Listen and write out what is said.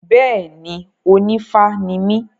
Bẹ́ẹ̀ni, onífá ni mí.